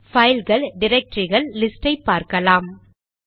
பைல்கள் டிரக்டரிகள் லிஸ்ட் ஐ பார்க்கலாம்